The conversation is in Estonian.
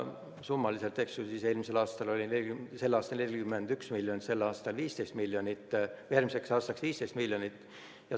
Summa oli 2020. aastal peaaegu 41 miljonit, järgmiseks aastaks on ette nähtud 15 miljonit eurot.